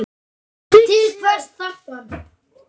Til hvers þarftu hann?